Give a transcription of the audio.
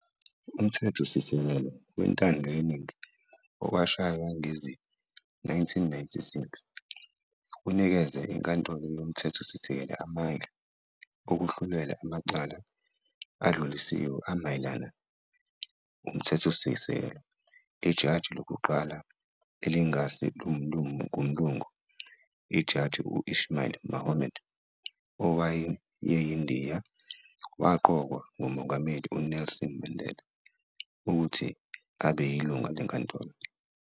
Umthethosikelelo wentandoyeningi owashaywa ngezi-1996, unikeze iNkantolo yoMthethosisekelo amandla okuhlulela amacala adlulisiwe amayelana umthethosisekelo. Ijaji lokuqala elingasi ngumlungu, uJaji Ismail Mahomed, owayiNdiya, waqokwa nguMongameli uNelson Mandela, ukuthi abeyilunga lenkantolo.